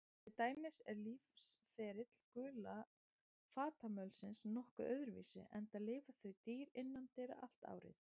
Til dæmis er lífsferill gula fatamölsins nokkuð öðruvísi, enda lifa þau dýr innandyra allt árið.